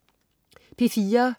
P4: